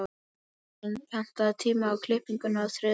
Malen, pantaðu tíma í klippingu á þriðjudaginn.